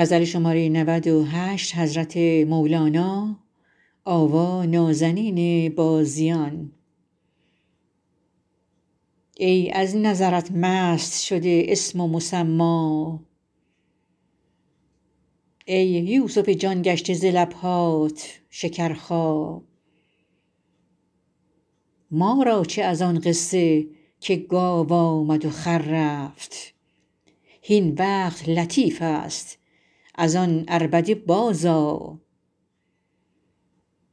ای از نظرت مست شده اسم و مسما ای یوسف جان گشته ز لب هات شکرخا ما را چه از آن قصه که گاو آمد و خر رفت هین وقت لطیف است از آن عربده بازآ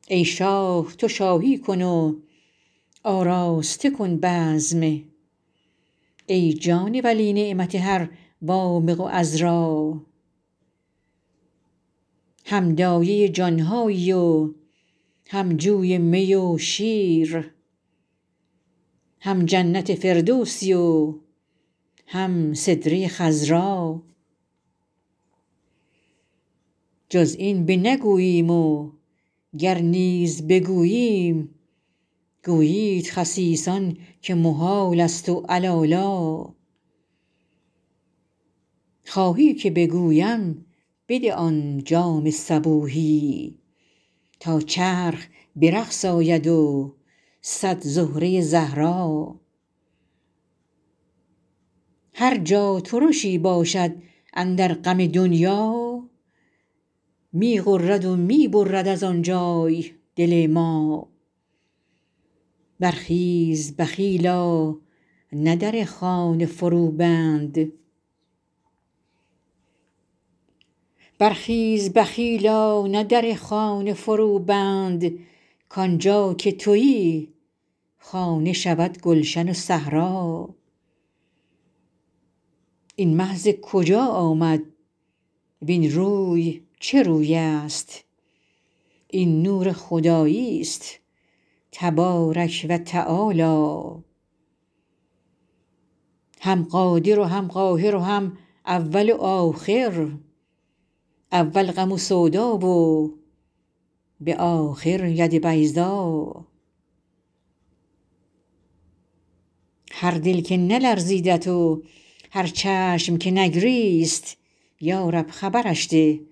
ای شاه تو شاهی کن و آراسته کن بزم ای جان ولی نعمت هر وامق و عذرا هم دایه جان هایی و هم جوی می و شیر هم جنت فردوسی و هم سدره خضرا جز این بنگوییم وگر نیز بگوییم گویند خسیسان که محالست و علالا خواهی که بگویم بده آن جام صبوحی تا چرخ به رقص آید و صد زهره زهرا هر جا ترشی باشد اندر غم دنیا می غرد و می برد از آن جای دل ما برخیز بخیلا نه در خانه فروبند کان جا که توی خانه شود گلشن و صحرا این مه ز کجا آمد وین روی چه روی است این نور خداییست تبارک و تعالی هم قادر و هم قاهر و هم اول و آخر اول غم و سودا و به آخر ید بیضا هر دل که نلرزیدت و هر چشم که نگریست یا رب خبرش ده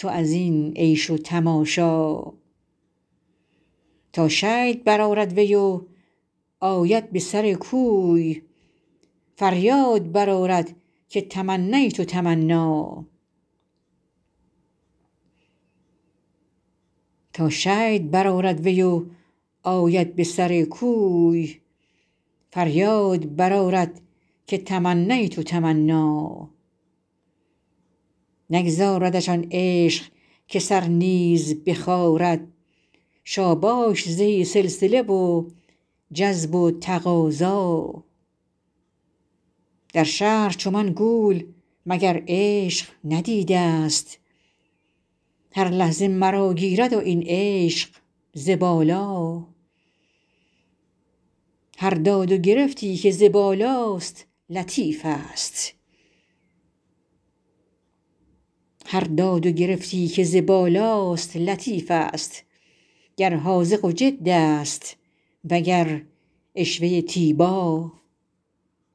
تو از این عیش و تماشا تا شید برآرد وی و آید به سر کوی فریاد برآرد که تمنیت تمنا نگذاردش آن عشق که سر نیز بخارد شاباش زهی سلسله و جذب و تقاضا در شهر چو من گول مگر عشق ندیده ست هر لحظه مرا گیرد این عشق ز بالا هر داد و گرفتی که ز بالاست لطیفست گر حاذق جد است وگر عشوه تیبا